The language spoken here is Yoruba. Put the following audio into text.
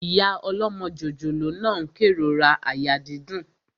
Ìyá ọlọ́mọ jòjòló náà n kérora àyà dídùn